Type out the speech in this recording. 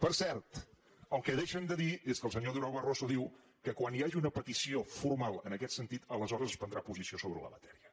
per cert el que deixen de dir és que el senyor durão barroso diu que quan hi hagi una petició formal en aquest sentit aleshores es prendrà posició sobre la matèria